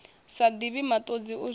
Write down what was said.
sa divhi matodzi u zwifhela